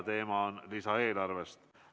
Teemaks on lisaeelarve.